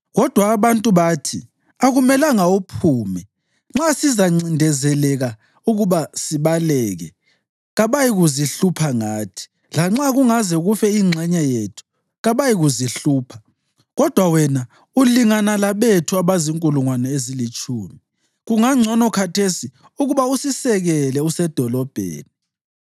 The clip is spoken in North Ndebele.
Kodwa abantu bathi, “Akumelanga uphume; nxa sizancindezeleka ukuba sibaleke, kabayikuzihlupha ngathi. Lanxa kungaze kufe ingxenye yethu, kabayikuzihlupha; kodwa wena ulingana labethu abazinkulungwane ezilitshumi. Kungabangcono khathesi ukuba usisekele usedolobheni.”